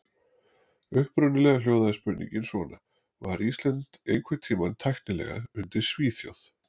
Upprunalega hljóðaði spurningin svona: Var Ísland einhvern tímann tæknilega undir Svíþjóð?